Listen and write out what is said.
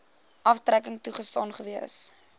aftrekking toegestaan gewees